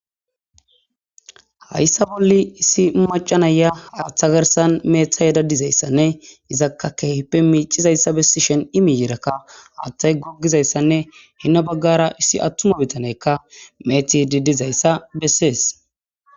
hayssa bolli issi macca naya aaththa garsan mcayida dizayssanne izakka kehippe miicizayssa bessishen i miyiirakka haattay goggizayssanne hinna baggara issi attuma bitaneykka meeti didizayssa besses.